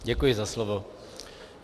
Děkuji za slovo.